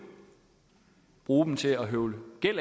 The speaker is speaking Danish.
bruge dem til at høvle